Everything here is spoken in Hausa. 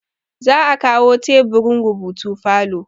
za a kawo teburin rubutu falo